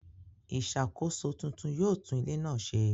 ìṣàkóso tuntun yóò tún ilé náà se.